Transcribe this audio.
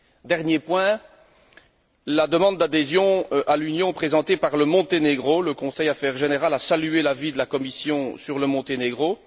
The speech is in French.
Dernier point, la demande d'adhésion à l'Union présentée par le Monténégro. Le Conseil Affaires générales a salué l'avis de la Commission sur le Monténégro.